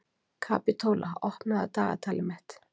Kapitola, opnaðu dagatalið mitt.